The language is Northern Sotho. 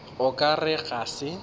o ka re ga se